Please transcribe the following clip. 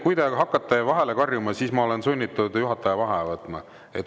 Kui te hakkate vahele karjuma, siis ma olen sunnitud juhataja vaheaja võtma.